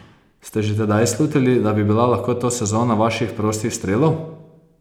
Ste že tedaj slutili, da bi bila lahko to sezona vaših prostih strelov?